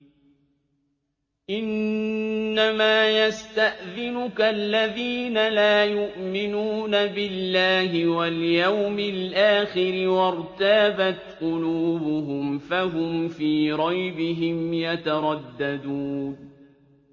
إِنَّمَا يَسْتَأْذِنُكَ الَّذِينَ لَا يُؤْمِنُونَ بِاللَّهِ وَالْيَوْمِ الْآخِرِ وَارْتَابَتْ قُلُوبُهُمْ فَهُمْ فِي رَيْبِهِمْ يَتَرَدَّدُونَ